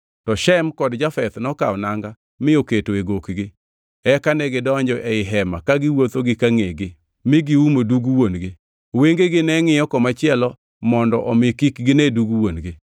To Shem kod Jafeth nokawo nanga mi oketo e gokgi; eka negidonjo ei hema ka giwuotho gi ka ngʼegi mi giumo dug wuon-gi. Wengegi ne ngʼiyo komachielo mondo omi kik gine dug wuon-gi.